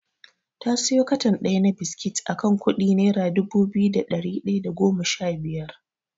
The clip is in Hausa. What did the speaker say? Ta siyo katon ɗaya na biskit akan kuɗi nera dubu biyu da ɗari ɗaya da goma shabiyar.